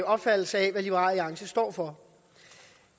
opfattelse af hvad liberal alliance står for